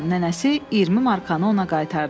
Nənəsi 20 markanı ona qaytardı.